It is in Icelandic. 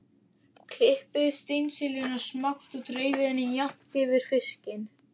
Klippið steinseljuna smátt og dreifið henni jafnt yfir fiskinn.